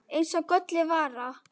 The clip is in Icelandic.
Eins og gölluð vara.